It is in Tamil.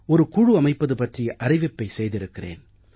ஒரு குழு அமைப்பது பற்றிய அறிவிப்பை செய்திருக்கிறேன்